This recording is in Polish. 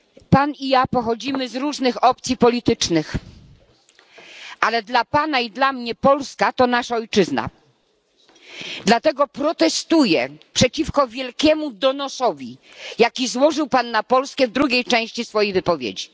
Pan i ja pochodzimy z różnych opcji politycznych, ale dla Pana i dla mnie Polska to nasza ojczyzna, dlatego protestuję przeciwko wielkiemu donosowi, jaki złożył Pan na Polskę w drugiej części swojej wypowiedzi.